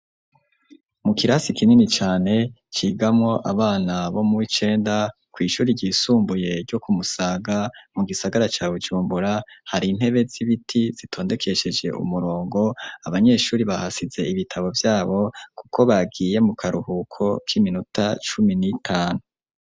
Mu kirasi kinini cane, cigamwo abana bo mu w'icenda kw'ishuri ryisumbuye ryo ku Musaga, mu gisagara ca Bujumbura, hari intebe z'ibiti zitondekesheje umurongo, abanyeshuri bahasize ibitabo vyabo, kuko bagiye mu karuhuko k'iminota cumi n'itanu.